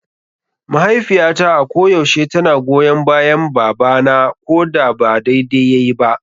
Mahaifiyata a ko yaushe tana goyon bayan baba na koda ba daidai yayi ba.